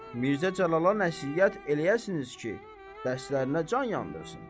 Mirzə Cəlala nəsihət eləyəsiniz ki, dərslərinə can yandırsın.